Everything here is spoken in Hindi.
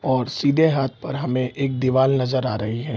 और सीधे हाथ पर हमें एक दिवाल नजर आ रही है ।